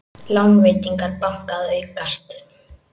Lánveitingar banka að aukast